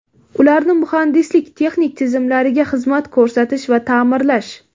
ularni muhandislik-texnik tizimlariga xizmat ko‘rsatish va taʼmirlash.